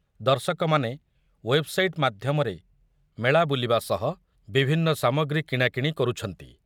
ଦର୍ଶକମାନେ ୱେବସାଇଟ୍ ମାଧ୍ୟମରେ ମେଳା ବୁଲିବା ସହ ବିଭିନ୍ନ ସାମଗ୍ରୀ କିଣାକିଣି କରୁଛନ୍ତି।